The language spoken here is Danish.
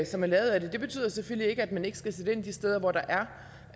som man lavede af den det betyder selvfølgelig ikke at man ikke skal sætte ind de steder hvor der